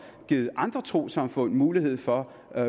givet andre trossamfund mulighed for